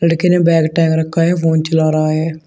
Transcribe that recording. एक ने बैग टांग रखा है फोन चला रहा है।